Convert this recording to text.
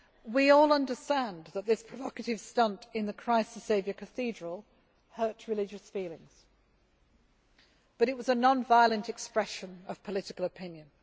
We all understand that this provocative stunt in the Christ the Saviour cathedral hurt religious feelings. But it was a non violent expression of political opinion.